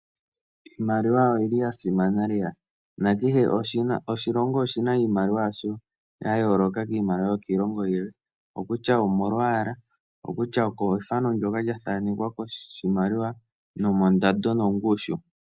Iimaliwa oyili ya simana lela na kehe oshilongo oshina iimaliwa yasho ya yooloka kiimaliwa yokiilongo yilwe, okutya omolwaala okutya okefano ndoka lya thaanekwa koshimaliwa nomondando nongushu.